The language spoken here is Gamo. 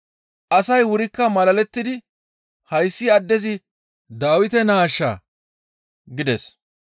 Asay wurikka malalettidi, «Hayssi addezi Dawite naashaa?» gides.